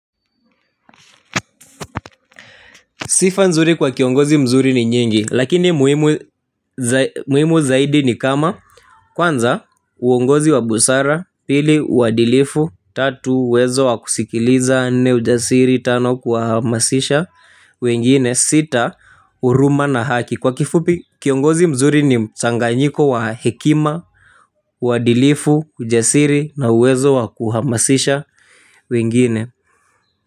Sifa nzuri kwa kiongozi mzuri ni nyingi, lakini muhimu zaidi ni kama, kwanza, uongozi wa busara, pili, uadilifu, tatu, uwezo wa kusikiliza, nne ujasiri, tano, kuhamasisha wengine, sita, huruma na haki. Kwa kifupi, kiongozi mzuri ni mchanganyiko wa hekima, uadilifu, ujasiri, na uwezo wa kuhamasisha wengine.